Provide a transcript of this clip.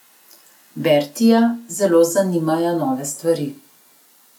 Bertija zelo zanimajo nove stvari.